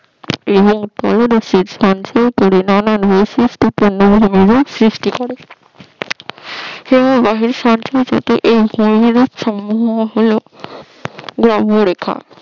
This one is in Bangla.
এবং সঞ্চয় করে নানান সৃষ্টি করে হিমবাহের সঞ্চয়জাত এই ভূমিরূপ সমূহ হল ব্রাহ্ম রেখা